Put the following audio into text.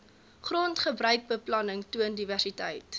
grondgebruikbeplanning toon diversiteit